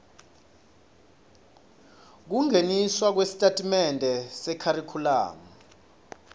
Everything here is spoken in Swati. kungeniswa kwesitatimende sekharikhulamu